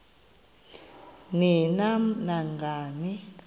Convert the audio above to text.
ni nam nangani